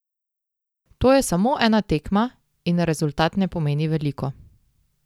To je samo ena tekma in rezultat ne pomeni veliko.